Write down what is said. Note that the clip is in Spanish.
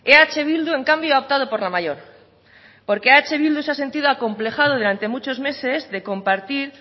eh bildu en cambio ha optado por la mayor porque eh bildu se ha sentido acomplejado durante muchos meses de compartir